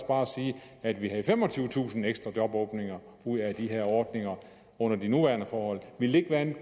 bare sige at vi havde femogtyvetusind ekstra jobåbninger ud af de her ordninger under de nuværende forhold ville det ikke være en